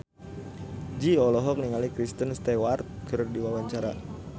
Jui olohok ningali Kristen Stewart keur diwawancara